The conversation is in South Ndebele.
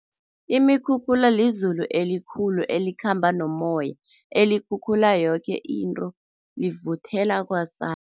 Imikhukhula lizulu elikhulu elikhamba nomoya, elikhukhula yoke into, livuthela kwasa.